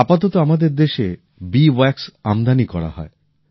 আপাতত আমাদের দেশে মৌচাকের মোম আমদানি করা হয়